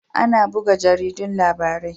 Ana buga jaridun labarai